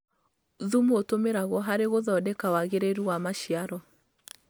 Thumu ũtũmĩragwo harĩ gũthondeka wagĩrĩru wa maciaro.